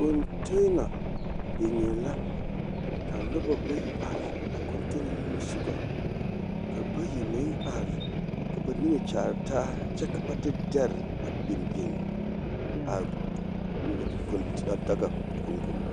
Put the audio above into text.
Fintina biŋe la ka noba bayi are a fintina nimisogɔ ka bayi meŋ are ka ba niŋe kyaare taa kyɛ ka ba de dɛre a biŋ biŋ a a konkoba.